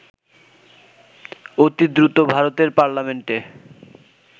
অতিদ্রুত ভারতের পার্লামেন্টে